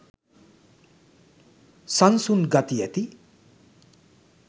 සන්සුන් ගති ඇති